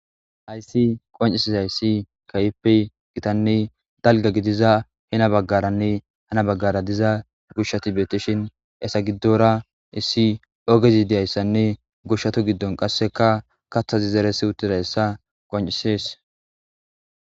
Hayssi qonccisizayssi kehippe gittanne dalgga gidiza heni bagaranne hani bagara diza mishati bettishin hessa giddora issi ogezi goshshata giddon qaseka kathazi zeretizayssa qonccisses.